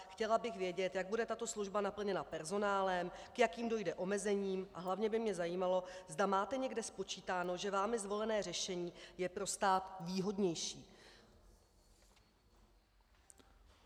Chtěla bych vědět, jak bude tato služba naplněna personálem, k jakým dojde omezením, a hlavně by mě zajímalo, zda máte někde spočítáno, že vámi zvolené řešení je pro stát výhodnější.